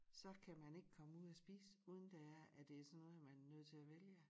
Så kan man ikke komme ud at spise uden det er at det er sådan noget man er nødt til at vælge